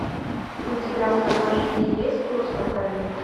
у тебя в загашнике есть туз в рукаве